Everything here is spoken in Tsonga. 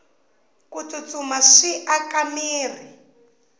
ku tsutsuma swi aka mirhi